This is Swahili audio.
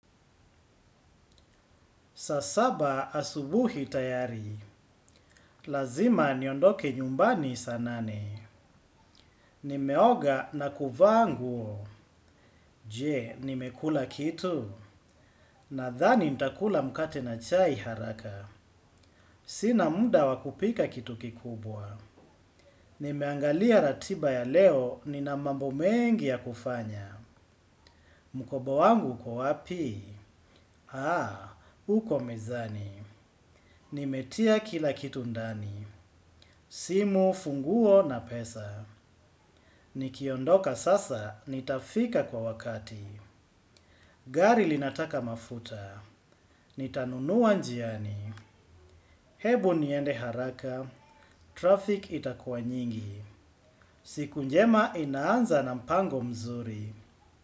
Sasaba asubuhi tayari. Lazima niondoke nyumbani saa nane. Nimeoga na kuvaa nguo. Je, nimekula kitu? Nadhani ntakula mkate na chai haraka. Sina muda wa kupika kitu kikubwa. Nimeangalia ratiba ya leo, nina mambo mengi ya kufanya. Mukoba wangu uko wapi? Haa, uko mezani. Nimetia kila kitu ndani. Simu, funguo na pesa. Nikiondoka sasa, nitafika kwa wakati. Gari linataka mafuta. Nitanunuwa njiani. Hebu niende haraka. Traffic itakuwa nyingi. Siku njema inaanza na mpango mzuri.